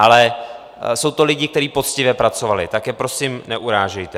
Ale jsou to lidi, kteří poctivě pracovali, tak je prosím neurážejte.